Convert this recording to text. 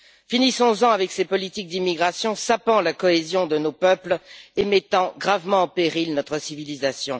Finissons en avec ces politiques d'immigration sapant la cohésion de nos peuples et mettant gravement en péril notre civilisation.